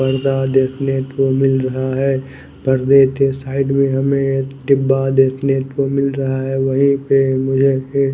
पडदा देखने को मिल रहा है पड़दे के साईड में हमे एक डिब्बा देखने को मिल रहा है वही मुझे एक --